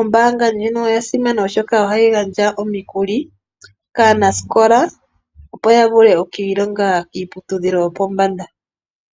Ombaanga ndjino oya simana oshoka ohayi gandja omikuli kaanasikola, opo yavule okwiilonga kiiputudhilo yopombanda.